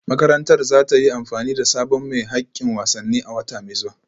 Makarantar za ta yi amfani da sabon mai hakkin wasanni a wata mai zuwa